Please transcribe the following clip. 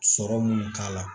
Sɔrɔ munnu k'a la